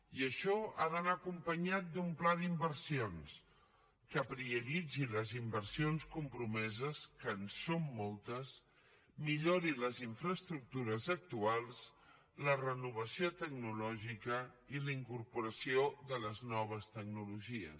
i això ha d’anar acompanyat d’un pla d’inversions que prioritzi les inversions compromeses que en són moltes millori les infraestructures actuals la renovació tecnològica i la incorporació de les noves tecnologies